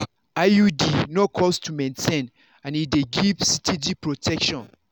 iud no cost to maintain and e dey give steady protection.